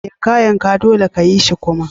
Yanka! Yanka! dolle ka yi shi kuma.